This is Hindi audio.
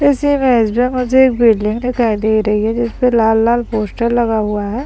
इस इमेज में मुझे एक बिल्डिंग दिखाई दे रही है जिसपे लाल लाल पोस्टर लगा हुआ है ।